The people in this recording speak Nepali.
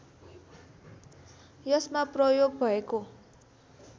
यसमा प्रयोग भएको